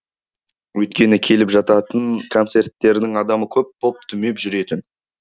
өйткені келіп жататын концерттердің адамы көп боп дүмеп жүретін